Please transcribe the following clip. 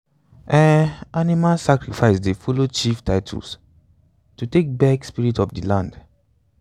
um animal sacrifice dey follow chief titles to take beg spirits of the land. um